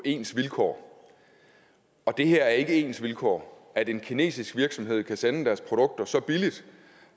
ens vilkår og det her er ikke ens vilkår at en kinesisk virksomhed kan sende deres produkter så billigt